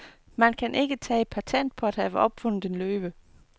Man kan ikke tage patent på at have opfundet en løve.